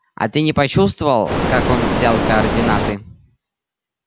а ты не почувствовал как он взял координаты